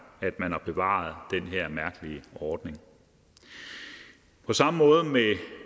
at man har bevaret den her mærkelige ordning på samme måde